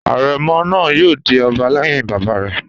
Àrẹ̀mọ náà yóò di ọba lẹ́yìn bàbá rẹ̀